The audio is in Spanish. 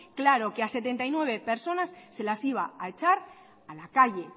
claro que a setenta y nueve personas se las iba a echar a la calle